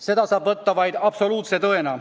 Seda saab võtta vaid absoluutse tõena.